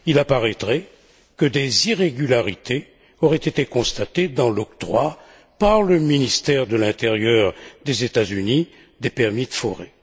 Il apparaîtrait que des irrégularités auraient été constatées dans l'octroi, par le ministère de l'intérieur des États Unis, des permis de forer.